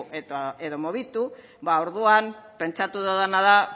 edo mugitu orduan pentsatu dudana da